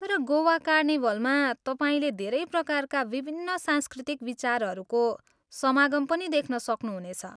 तर गोवा कार्निभलमा, तपाईँले धेरै प्रकारका विभिन्न सांस्कृतिक विचारहरूको समागम पनि देख्न सक्नुहुनेछ।